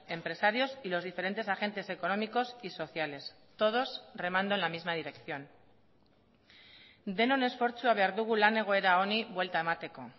empresarios y los diferentes agentes económicos y sociales todos remando en la misma dirección denon esfortzua behar dugu lan egoera honi buelta emateko